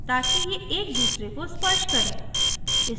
ताकि ये एक दूसरे को स्पर्श करें